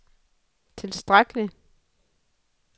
tilstrækkelig